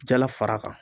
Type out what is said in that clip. Jala fara kan